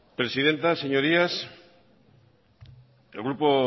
presidenta señorías el grupo